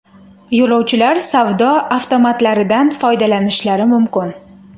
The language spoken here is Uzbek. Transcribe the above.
Yo‘lovchilar savdo avtomatlaridan foydalanishlari mumkin.